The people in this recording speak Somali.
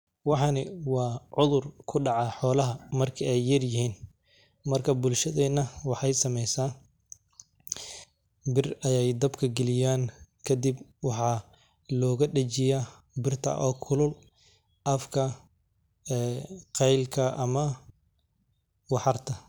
Waxani wa cudur kudaca xolaha marki ey yaryihin, marka bulshadena waxey sameysa bir ayey dabka galiyan kadib waxa looga dajiya birta oo kulul afka ee qeylka ama waxarta.